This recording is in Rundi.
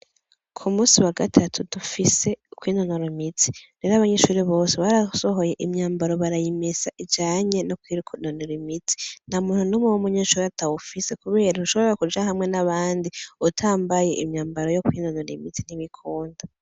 Kumusi wagatatu dufise kwinonora imitsi. Rero abanyeshure bose barasohoye imyambaro barayimesa ijanye no kwinonora imitsi. Ntamuntu numwe w'umunyeshuri atawufise kubera ntushobora kuja hamwe nabandi utambaye umwambaro wo kwinonora imitsi ntibikunda.